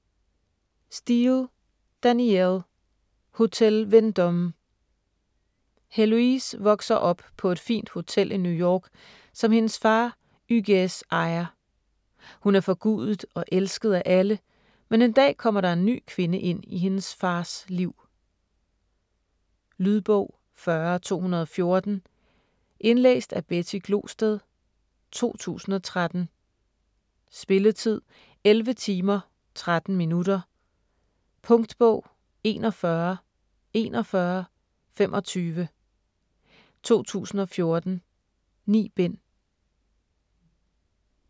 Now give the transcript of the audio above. Steel, Danielle: Hotel Vendôme Heloise vokser op på et fint hotel i New York, som hendes far Hugues ejer. Hun er forgudet og elsket af alle, men en dag kommer der en ny kvinde i hendes fars liv. Lydbog 40214 Indlæst af Betty Glosted, 2013. Spilletid: 11 timer, 13 minutter. Punktbog 414125 2014. 9 bind.